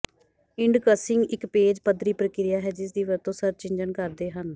indexing ਇਕ page ਪੱਧਰੀ ਪ੍ਰਕਿਰਿਆ ਹੈ ਜਿਸਦੀ ਵਰਤੋਂ ਸਰਚ ਇੰਜਣ ਕਰਦੇ ਹਨ